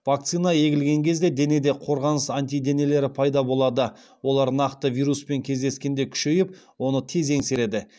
вакцина егілген кезде денеде қорғаныс антиденелері пайда болады олар нақты вируспен кездескенде күшейіп оны тез еңсереді